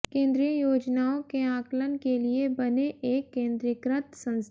केंद्रीय योजनाओं के आकलन के लिए बने एक केंद्रीकृत संस्था